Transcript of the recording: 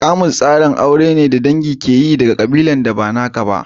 Kamus tsarin aure ne da dangi ke yin aure daga ƙabilar da ba naka ba.